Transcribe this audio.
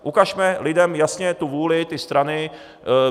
Ukažme lidem jasně tu vůli, ty strany.